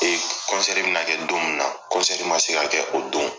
bɛ na kɛ don min na man se ka kɛ o don.